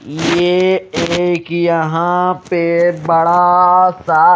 ये एक यहां पे बड़ा सा--